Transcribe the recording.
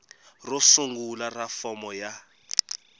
ro sungula ra fomo ya